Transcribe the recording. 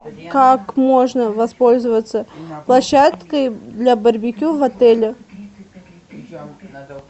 как можно воспользоваться площадкой для барбекю в отеле